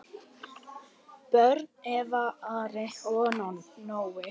Börn: Eva, Ari og Nói.